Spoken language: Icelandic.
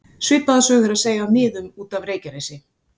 Svipaða sögu er að segja af miðum út af Reykjanesi.